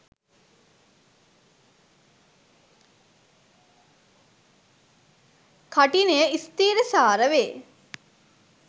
කඨිනය ස්ථිරසාර වේ.